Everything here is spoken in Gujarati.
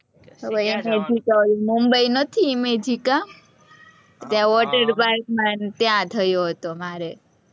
ઇમેજિકા, ઓલું, મુંબઈ નથી, ઇમેજિકા. ત્યાં water park માં, ત્યાં થયો હતો, મારે.